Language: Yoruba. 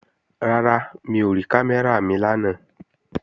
Rárá, mi ò rí kámẹ́rà mi lánàá